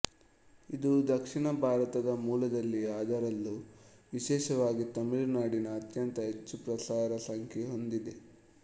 ಇದು ದಕ್ಷಿಣ ಭಾರತದ ಮೂಲದಲ್ಲಿ ಅದರಲ್ಲೂ ವಿಶೇಷವಾಗಿ ತಮಿಳು ನಾಡಿನಲ್ಲಿ ಅತ್ಯಂತ ಹೆಚ್ಚು ಪ್ರಸಾರ ಸಂಖ್ಯೆಹೊಂದಿದೆ